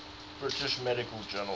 british medical journal